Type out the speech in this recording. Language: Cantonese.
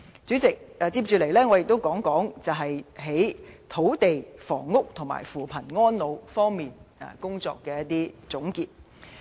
主席，接下來，我想總結政府在土地房屋和扶貧安老方面的工作。